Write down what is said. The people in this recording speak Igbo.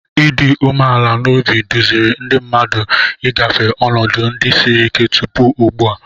Ịdị umeala n'obi duziri ndị mmadụ ị gafe ọnọdụ ndị siri ike tupu ugbu a.